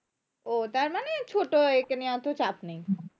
ও তারমানে ছোটো একে নিয়ে অতো চাপ নেই